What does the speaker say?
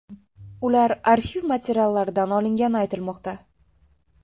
Ular arxiv materiallaridan olingani aytilmoqda.